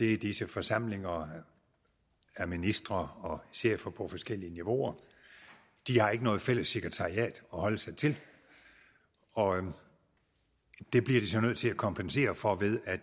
er disse forsamlinger af ministre og chefer på forskellige niveauer de har ikke noget fælles sekretariat at holde sig til og det bliver de så nødt til at kompensere for ved at